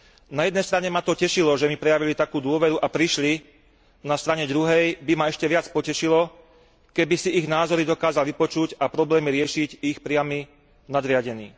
Na jednej strane ma to tešilo, že mi prejavili takú dôveru a prišli, na druhej strane by ma ešte viac potešilo, keby si ich názory dokázal vypočuť a problémy riešiť ich priamy nadriadený.